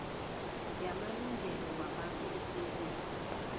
yamalungelo wabantu esewula